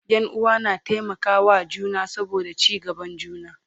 Ƴan uwa na taimaka wa juna saboda ci gaban juna